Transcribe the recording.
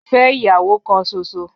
Fe iyawo kan ṣoṣo.